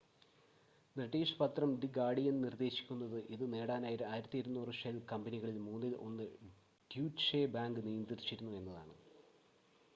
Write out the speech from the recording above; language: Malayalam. ബ്രിട്ടീഷ് പത്രം ദി ഗാർഡിയൻ നിർദ്ദേശിക്കുന്നത് ഇത് നേടാനായി ഉപയോഗിച്ച 1200 ഷെൽ കമ്പനികളിൽ മൂന്നിൽ ഒന്ന് ഡ്യൂറ്റ്ഷെ ബാങ്ക് നിയന്ത്രിച്ചിരുന്നു എന്നാണ്